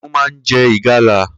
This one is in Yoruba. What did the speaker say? Kiniùn mà n jẹ igàla